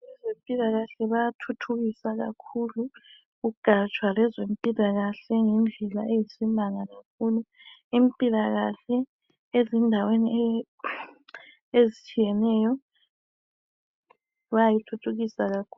Abezempilakahle bayathuthukisa kakhulu ugatsha lwezempilakahle ngendlela eyisimanga kakhulu impilakahle ezindaweni ezitshiyeneyo bayayithuthukisa kakhulu.